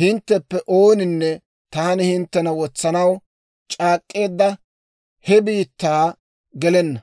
hintteppe ooninne taani hinttena wotsanaw c'aak'k'eedda he biittaa gelenna.